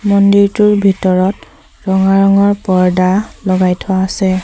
মন্দিৰটোৰ ভিতৰত ৰঙা ৰঙৰ পৰ্দা লগাই থোৱা আছে।